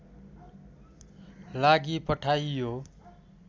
लागि पठाइयो